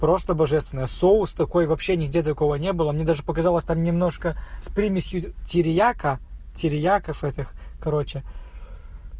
просто божественно соус такой вообще нигде такого не было мне даже показалось там немножко с примесью тирьяка терьяков этих короче